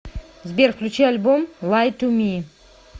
сбер включи альбом лай ту ми